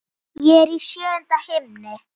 Ég er í sjöunda himni.